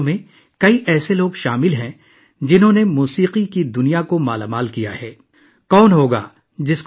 دوستو، اس بار پدم ایوارڈز سے نوازے جانے والوں میں موسیقی کی دنیا میں زبردست تعاون کرنے والے کئی لوگ شامل ہیں